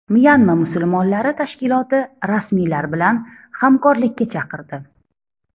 Myanma musulmonlari tashkiloti rasmiylar bilan hamkorlikka chaqirdi.